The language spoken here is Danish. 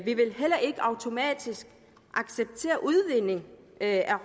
vi vil heller ikke automatisk acceptere udvinding af